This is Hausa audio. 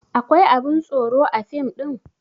Akwai abun tsoro a fim ɗin?